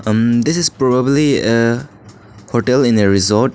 Umm this is probably a hotel in a resort.